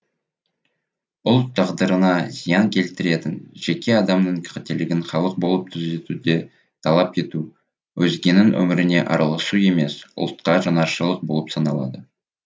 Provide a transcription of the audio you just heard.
ұлт тағдырына зиян келтіретін жеке адамның қателігін халық болып түзетуді талап ету өзгенің өміріне араласу емес ұлтқа жанашырлық болып саналады